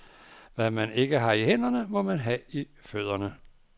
Hvad man ikke har i hænderne, må man ha i fødderne.